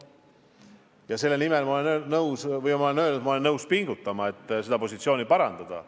Ja selle nimel – ma olen seda öelnud – ma olen nõus pingutama, et seda positsiooni parandada.